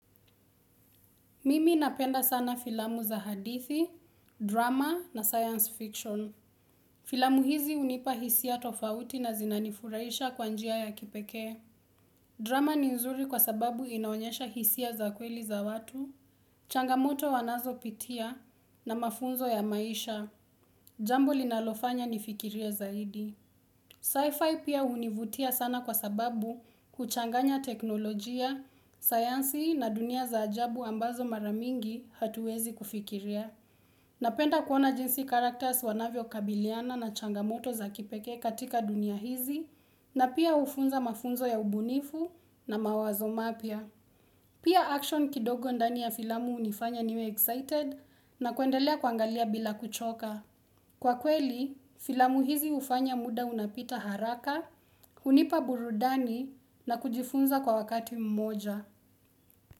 Mimi napenda sana filamu za hadithi, drama na science fiction. Filamu hizi hunipa hisia tofauti na zinanifuraisha kwa njia ya kipekee. Drama ni nzuri kwa sababu inaonyesha hisia za kweli za watu, changamoto wanazopitia na mafunzo ya maisha. Jambo linalofanya nifikirie zaidi. Sci-fi pia hunivutia sana kwa sababu huchanganya teknolojia, sayansi na dunia za ajabu ambazo mara mingi hatuwezi kufikiria. Napenda kuona jinsi characters wanavyokabiliana na changamoto za kipekee katika dunia hizi na pia hufunza mafunzo ya ubunifu na mawazo mapya. Pia action kidogo ndani ya filamu hunifanya niwe excited na kuendelea kuangalia bila kuchoka. Kwa kweli, filamu hizi hufanya muda unapita haraka, hunipa burudani na kujifunza kwa wakati mmoja.